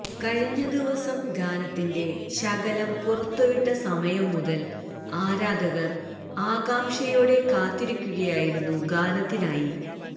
കഴിഞ്ഞ ദിവസം ഗാനത്തിന്റെ ശകലം പുറത്തു വിട്ട സമയം മുതൽ ആരാധകർ ആകാംഷയോടെ കാത്തിരിക്കുകയായിരുന്നു ഗാനത്തിനായി